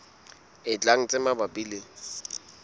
e tlang tse mabapi le